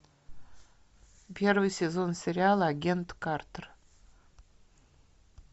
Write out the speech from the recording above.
первый сезон сериала агент картер